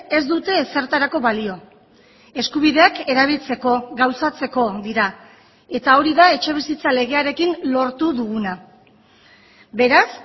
ez dute ezertarako balio eskubideak erabiltzeko gauzatzeko dira eta hori da etxebizitza legearekin lortu duguna beraz